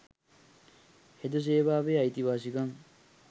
හෙද සේවාවේ අයිතිවාසිකම්